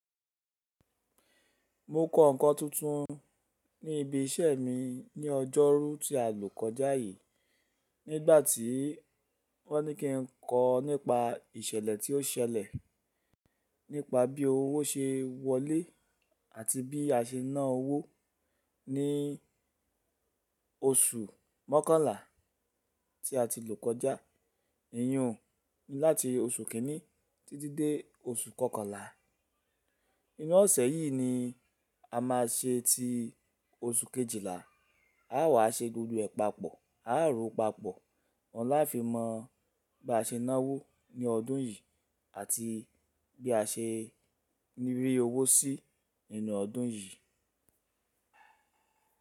Mo kọ́ nǹkan tuntun ní ibi iṣẹ́ mi ní ọjọ́rú tí a lò kọjá yìí. Nígbà tí wọ́n ní kí n kọ́ nípa ìṣẹ̀lẹ̀ tí ó ṣẹlẹ̀ nípa bí owó ṣe wọlé àti bí a ṣe ná owó ní oṣù mọ́kànlá tí a ti lò kọjá. Èyun láti oṣù kínní títí dé oṣù kọkànlá. Inú ọ̀sẹ̀ yìí ni a máa ṣe ti oṣù kejìlá. A wà ṣe gbogbo ẹ̀ papọ̀, a rò ó papọ̀. Ọ̀la fi mọ̀ bí a ṣe ná owó ní ọdún yìí àti bí a ṣe rí owó sí nínú ọdún yìí.